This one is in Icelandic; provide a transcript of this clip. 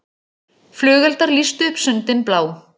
Flugeldar lýstu upp sundin blá